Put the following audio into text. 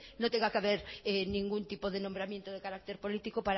no tenga que ver ningún tipo de nombramiento de carácter político